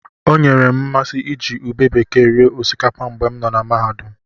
O nyeere m mmasị iji ube bekee rie osikapa mgbe m nọ mahadum.